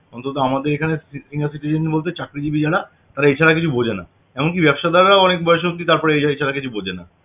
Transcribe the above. অন্তত আমাদের এখানে senior citizen দের মধ্যে চাকরিজীবী যারা তারা এছাড়া কিছু বুঝে না এমনকি ব্যাবসাদাররাও অনেক বয়স অব্দি তারপরে এছাড়া কিছু বুঝে না